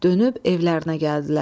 Dönüb evlərinə gəldilər.